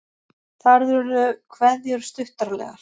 Þar urðu kveðjur stuttaralegar.